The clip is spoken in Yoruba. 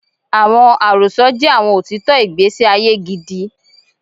Awọn arosọ jẹ awọn otitọ igbesi aye gidi